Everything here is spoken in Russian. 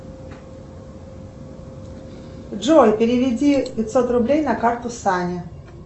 джой переведи пятьсот рублей на карту сане